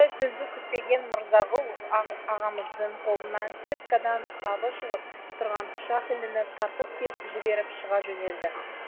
сөзді күтпеген мырзағұл ағамыздың қолына сеткадан сабы шығып тұрған пышақ ілініп тартып кеп жіберіп шыға жөнеледі